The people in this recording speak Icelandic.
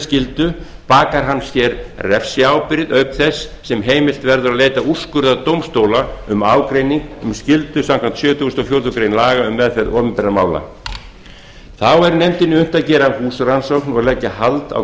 skyldu bakar hann sér refsiábyrgð auk þess sem heimilt verður að leita úrskurðar dómstóla um ágreining um skyldu samkvæmt sjötugasta og fjórðu grein laga um meðferð opinberra mála þá er nefndinni unnt að gera húsrannsókn og leggja hald á